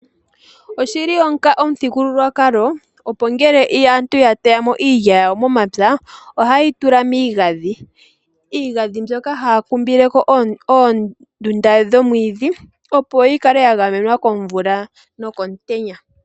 Oshi li omuthigululwakalo opo ngele aantu ya teya mo iilya yawo momapya ohaye yi tula miigandhi. Iigandhi mbyoka haya kumbile ko oondunda dhoomwiidhi opo yi kale ya gamenwa komvula nokomutenya.